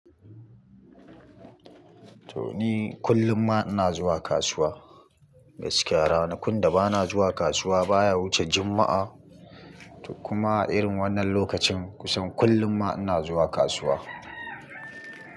To ni kullum ma ina zuwa kasuwa gaskiya, ranakun da bana zuwa kasuwa baya wuce juma'a kuma a irin wannan lokacin kusan kullum ma ina zuwa kasuwa.